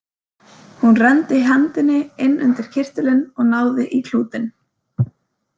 Hún renndi hendinni inn undir kyrtilinn og náði í klútinn.